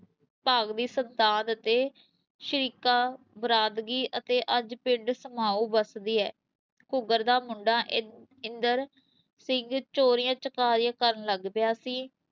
ਭਾਗ ਦੀ ਸੰਤਾਨ ਅਤੇ ਸ਼ਰੀਕਾ ਬਰਾਦਰੀ ਅਤੇ ਅੱਜ ਪਿੰਡ ਸਮਾਉਂ ਵੱਸਦੀ ਹੈ, ਘੁੱਕਰ ਦਾ ਮੁੰਡਾ ਇ ਇੰਦਰ ਸਿੰਘ ਚੋਰੀਆਂ ਚਕਾਰੀਆਂ ਕਰਨ ਲੱਗ ਪਿਆ ਸੀ।